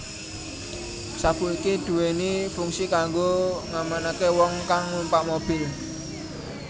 Sabuk iki duwéni fungsi kanggo ngamanaké wong kang numpak mobil